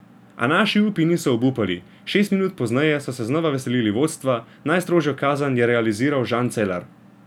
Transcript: A naši upi niso obupali, šest minut pozneje so se znova veselili vodstva, najstrožjo kazen je realiziral Žan Celar.